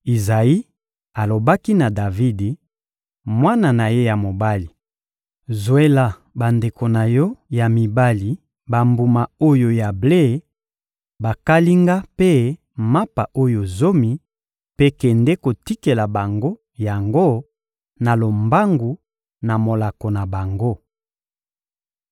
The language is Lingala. Izayi alobaki na Davidi, mwana na ye ya mobali: «Zwela bandeko na yo ya mibali bambuma oyo ya ble bakalinga mpe mapa oyo zomi, mpe kende kotikela bango yango na lombangu na molako na bango.